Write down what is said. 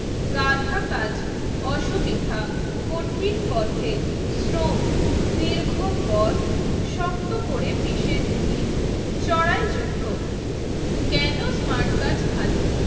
গাধা কাজ, অসুবিধা, কঠিন পথের, শ্রম। দীর্ঘ পথ শক্ত করে পিষে নিন চড়াই যুদ্ধ। কেন স্মার্ট কার্ড ভালো?